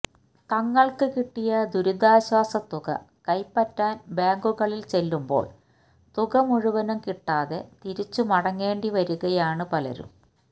തങ്ങള്ക്ക് കിട്ടിയ ദുരിതാശ്വാസ തുക കൈപറ്റാന് ബാങ്കുകളില് ചെല്ലുമ്പോള് തുകമുഴുവനും കിട്ടാതെ തിരിച്ചു മടങ്ങേണ്ടി വരികയാണ് പലരും